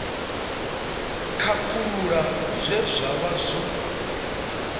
khakhulula zwe zwa vha zwo